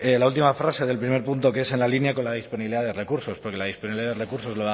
la última frase del primer punto que es en la línea con la disponibilidad de recursos porque la disponibilidad de recursos